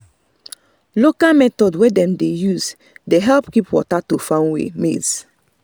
local method wey dem dey use dey help keep water to farm maize